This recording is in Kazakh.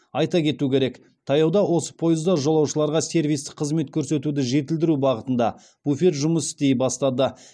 айта кету керек таяуда осы пойызда жолаушыларға сервистік қызмет көрсетуді жетілдіру бағытында буфет жұмыс істей бастады